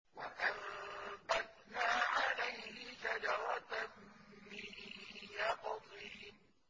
وَأَنبَتْنَا عَلَيْهِ شَجَرَةً مِّن يَقْطِينٍ